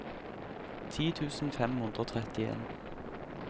ti tusen fem hundre og trettien